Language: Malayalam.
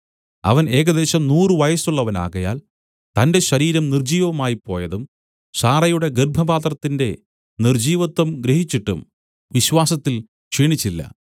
അവൻ ഏകദേശം നൂറു വയസ്സുള്ളവനാകയാൽ തന്റെ ശരീരം നിർജ്ജീവമായിപ്പോയതും സാറായുടെ ഗർഭപാത്രത്തിന്റെ നിർജ്ജീവത്വം ഗ്രഹിച്ചിട്ടും വിശ്വാസത്തിൽ ക്ഷീണിച്ചില്ല